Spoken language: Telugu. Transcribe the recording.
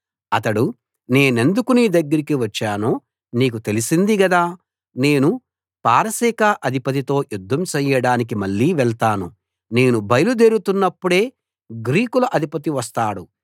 అతడు నేనెందుకు నీ దగ్గరికి వచ్చానో నీకు తెలిసింది గదా నేను పారసీక అధిపతితో యుద్ధం చేయడానికి మళ్ళీ వెళతాను నేను బయలు దేరుతున్నప్పుడే గ్రీకుల అధిపతి వస్తాడు